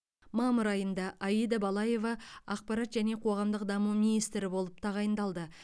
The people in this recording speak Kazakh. мамыр айында аида балаева ақпарат және қоғамдық даму министрі болып тағайындалды